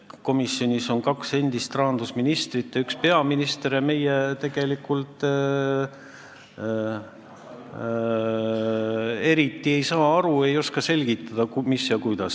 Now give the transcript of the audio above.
Komisjonis on ka kaks endist rahandusministrit ja üks peaminister ning me tegelikult ei saa eriti asjast aru, ei oska selgitada, mis ja kuidas.